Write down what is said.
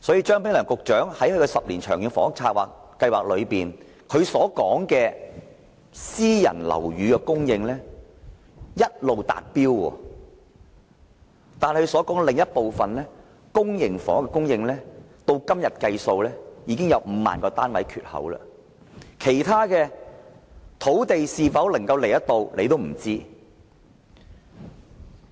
張炳良局長在其10年《長遠房屋策略》中說，私人樓宇供應一直達標，但公營房屋的供應，至今已有5萬個單位的缺口，能否提供土地興建其他樓宇也是未知之數。